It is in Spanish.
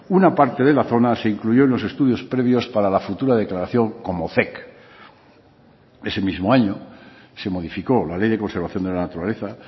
una parte de la zona se incluyó en los estudios previos para la futura declaración como zec ese mismo año se modificó la ley de conservación de la naturaleza